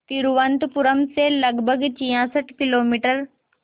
तिरुवनंतपुरम से लगभग छियासठ किलोमीटर